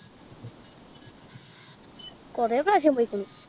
കൊറേ പ്രാവശ്യം പോയിക്കുണു